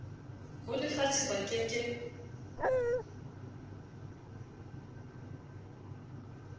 ho lefatshe ba ke ke